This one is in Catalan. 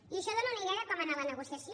i això dóna una idea de com ha anat la negociació